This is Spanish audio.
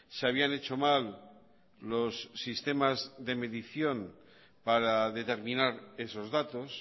se habían hecho mal los sistemas de medición para determinar esos datos